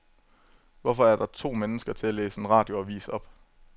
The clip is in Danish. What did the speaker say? Hvorfor er der to mennesker til at læse en radioavis op?